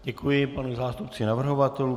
Děkuji panu zástupci navrhovatelů.